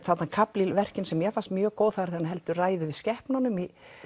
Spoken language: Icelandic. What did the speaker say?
kafli í verkinu sem mér fannst mjög góður þegar hann heldur ræðu yfir skepnunum